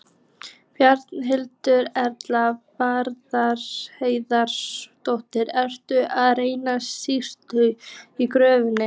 Berghildur Erla Bernharðsdóttir: Ertu að redda síðustu gjöfinni?